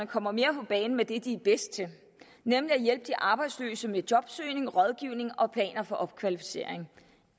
kommer mere på banen med det de er bedst til nemlig at hjælpe de arbejdsløse med jobsøgning rådgivning og planer for opkvalificering